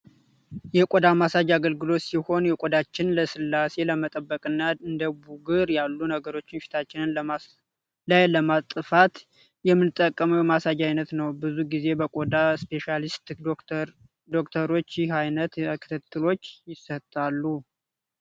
የቆዳ ማሳጅ አገልግሎት ሲሆን የቆዳችን ለስላሴ ለመጠበቅና እንደ ቡጉር ያሉ ነገሮችን ፊታችን ላይ ለማጥፋት የምንጠቀመው የማሳጅ አይነት ነው። ብዙ ጊዜ በቆዳ ስፔሻሊስት ዶክተሮች ይህ አይነት ክትትሎች ይሰጣሉ።